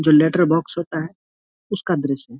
जो letter box होता है उसका दृश्य है।